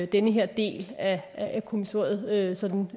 den her del af kommissoriet sådan